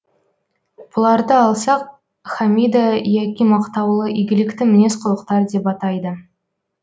бұларды алсақ хамида яки мақтаулы игілікті мінез құлықтар деп атайды